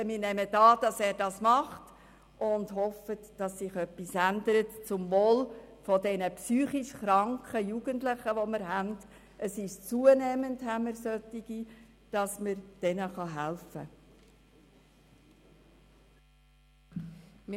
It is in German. Wir nehmen an, dass er das tun wird und hoffen, dass sich etwas zum Wohl der psychisch kranken Jugendlichen ändert, die wir zunehmend haben, und man diesen helfen kann.